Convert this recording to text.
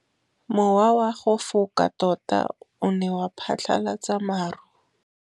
Mowa o wa go foka tota o ne wa phatlalatsa maru.